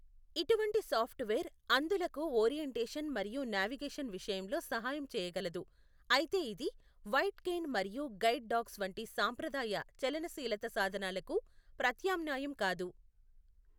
ఇటువంటి సాఫ్ట్వేర్ అంధులకు ఓరియెంటేషన్ మరియు నావిగేషన్ విషయంలో సహాయం చేయగలదు, అయితే ఇది వైట్ కేన్ మరియు గైడ్ డాగ్స్ వంటి సాంప్రదాయ చలనశీలత సాధనాలకు ప్రత్యామ్నాయం కాదు.